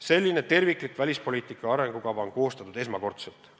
Selline terviklik välispoliitika arengukava on koostatud esmakordselt.